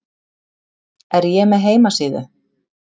Er ég með heimasíðu?